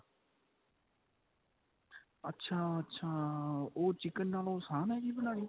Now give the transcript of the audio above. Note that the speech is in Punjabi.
ਅੱਛਾ ਅੱਛਾ ਉਹ chicken ਨਾਲੋਂ ਆਸਾਨ ਏ ਜੀ ਬਨਾਣੀ